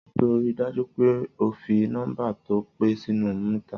Sọ rí dàjú pẹ òfí nọmba tọ pẹ sinu mítá?